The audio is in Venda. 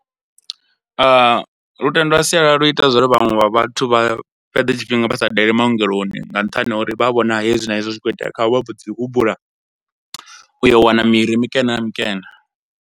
Lutendo lwa sialala lu ita zwa uri vhanwe vha vhathu vha fhedze tshifhinga vha sa daleli maongeloni nga nṱhani ha uri vha vhona hezwi na hezwi zwi khou itea khavho vha mbo dzi humbula u yo wana miri mikene na mikene.